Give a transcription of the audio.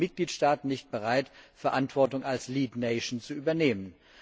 Warum sind die Mitgliedstaaten nicht bereit, Verantwortung als lead nations zu übernehmen?